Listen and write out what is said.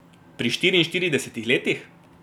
Pri štiriinštiridesetih letih?